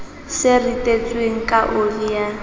se ritetsweng ka oli ya